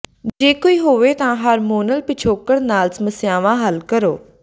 ਜੇ ਕੋਈ ਹੋਵੇ ਤਾਂ ਹਾਰਮੋਨਲ ਪਿਛੋਕੜ ਨਾਲ ਸਮੱਸਿਆਵਾਂ ਹੱਲ ਕਰੋ